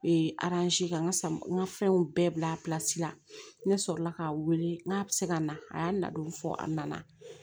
ka n ka n ka fɛnw bɛɛ bila la ne sɔrɔla k'a wele n k'a bɛ se ka na a y'a nadon fɔ a nana